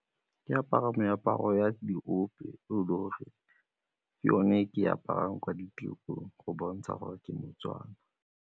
Ke apara meaparo ya diope ke yone ke aparang kwa ditirong go bontsha gore ke moTswana.